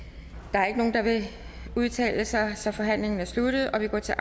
der er ikke nogen der vil udtale sig så forhandlingen er sluttet og vi går til